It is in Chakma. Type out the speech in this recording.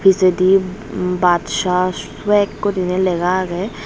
pijedi badsh swag guriney lega agey.